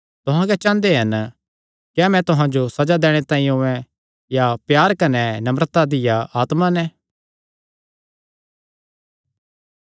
तुहां क्या चांह़दे हन क्या मैं तुहां जो सज़ा दैणे तांई औयें या प्यार कने नम्रता दिया आत्मा नैं